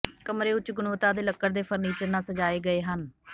ਕਮਰੇ ਉੱਚ ਗੁਣਵੱਤਾ ਦੇ ਲੱਕੜ ਦੇ ਫਰਨੀਚਰ ਨਾਲ ਸਜਾਏ ਗਏ ਹਨ